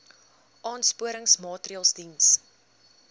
aansporingsmaatre ls diens